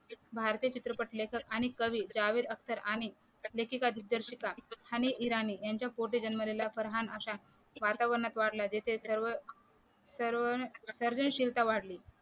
भारतीय चित्रपट लेखक आणि कवी जावेद अख्तर आणि लेखिका दिग्दर्शिका हनी इराणी यांच्या पोटे जन्मलेला फरहान अशा वातावरणात वाढलंय जिथे